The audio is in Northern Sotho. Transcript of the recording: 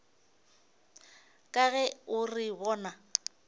ka ge o re bona